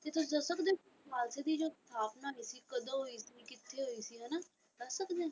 ਤੇ ਤੁਸੀਂ ਦੱਸ ਸਕਦੇ ਹੋ ਖ਼ਾਲਸੇ ਦੀ ਜੋ ਸਥਾਪਨਾ ਹੋਈ ਸੀ ਕਦੋਂ ਹੋਈ ਸੀ ਕਿੱਥੇ ਹੋਈ ਸੀ ਹਨਾ ਦੱਸ ਸਕਦੇ ਹੋ।